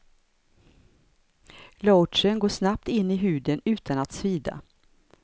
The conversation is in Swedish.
Lotionen går snabbt in i huden, utan att svida.